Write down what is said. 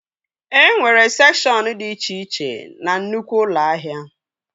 E nwere sekshọn dị iche iche na nnukwu ụlọ ahịa